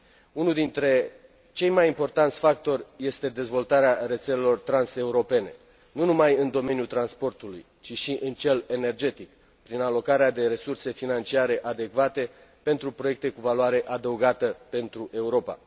Unul dintre cei mai importanți factori este dezvoltarea rețelelor transeuropene, nu numai în domeniul transportului, ci și în cel energetic, prin alocarea de resurse financiare adecvate pentru proiecte cu valoare adăugată pentru Europa.